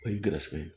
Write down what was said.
O ye garisɛgɛ ye